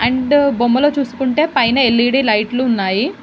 And బొమ్మ లో చూసుకుంటే పైన ఎల్_ఈ_డీ లైట్లు ఉన్నాయి.